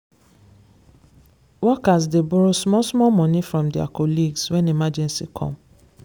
workers dey borrow small small money from their colleagues when emergency come.